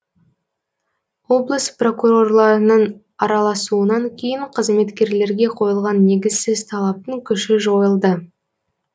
облыс прокурорларының араласуынан кейін қызметкерлерге қойылған негізсіз талаптың күші жойылды